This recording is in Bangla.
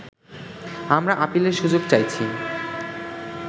আমরা আপিলের সুযোগ চাইছি